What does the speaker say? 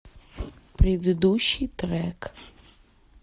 предыдущий трек